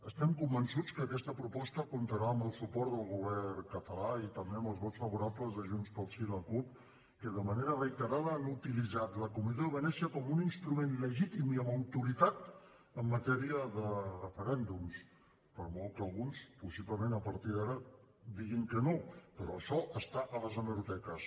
estem convençuts que aquesta proposta comptarà amb el suport del govern català i també amb els vots favorables de junts pel sí i la cup que de manera reiterada han utilitzat la comissió de venècia com un instrument legítim i amb autoritat en matèria de referèndums per molt que alguns possiblement a partir d’ara diguin que no però això està a les hemeroteques